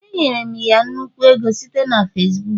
Enyere m ya nnukwu ego site na Facibuku